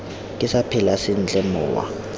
ke sa phela sentle mowa